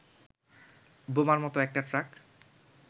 বোমার মতো একটা ট্রাক